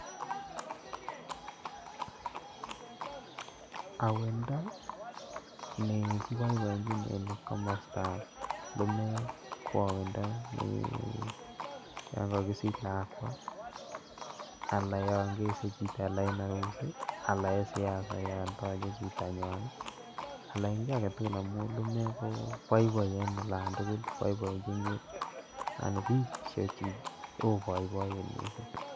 Owendo nekiboiboechin en komostan lumeek ko owendo neyon kokisich lakwaa alan yon kese chito en orusi alan en siasa yon toche chitanywan ii alan en kii aketugul amun lumeek koboiboi en olan tugul boiboienjin anan bik che oi boiboiyet missing'.